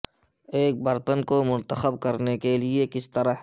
ایک برتن کو منتخب کرنے کے لئے کس طرح